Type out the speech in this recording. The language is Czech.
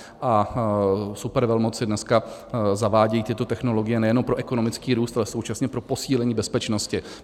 A supervelmoci dneska zavádějí tyto technologie nejenom pro ekonomický růst, ale současně pro posílení bezpečnosti.